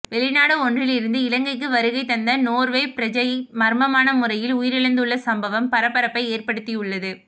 வெளிநாடு ஒன்றிலிருந்து இலங்கைக்கு வருகை தந்த நோர்வே பிரஜை மர்மமான முறையில் உயிரிழந்துள்ள சம்பவம் பரபரப்பை ஏற்படுத்தியுள்ளது